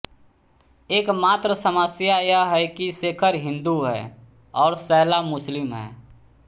एकमात्र समस्या यह है कि शेखर हिंदू है और शैला मुस्लिम है